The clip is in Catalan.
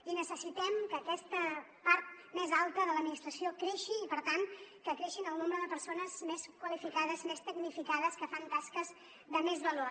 i necessitem que aquesta part més alta de l’administració creixi i per tant que creixi el nombre de persones més qualificades més tecnificades que fan tasques de més valor